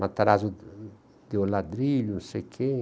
Matarazzo deu ladrilho, não sei quem.